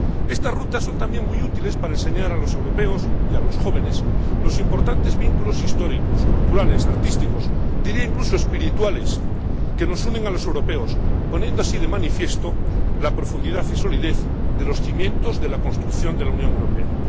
Estas rutas son también muy útiles para enseñar a los europeos y a los jóvenes los importantes vínculos históricos, culturales, artísticos, diría incluso espirituales, que nos unen a los europeos, poniendo así de manifiesto la profundidad y solidez de los cimientos de la construcción de la Unión Europea.